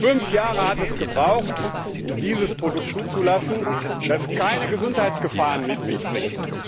Fünf Jahre hat es gedauert, um dieses Produkt zuzulassen, das keine Gesundheitsgefahren mit sich bringt.